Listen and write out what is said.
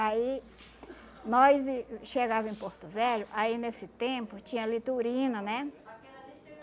Aí, nós ih chegava em Porto Velho, aí nesse tempo tinha litorina, né?